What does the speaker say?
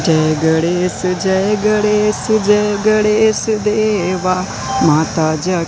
जय गणेश जय गणेश जय गणेश देवा माता जा--